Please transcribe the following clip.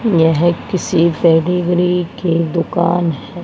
यह किसी से टेडी बेयर की दुकान है।